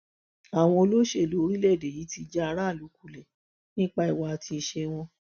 àwọn olóṣèlú orílẹèdè yìí ti já aráàlú kulẹ nípa ìwà àti ìṣe wọn